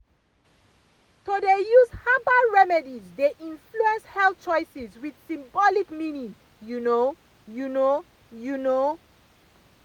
to dey use herbal remedies dey influence health choices with symbolic meaning you know you know you know.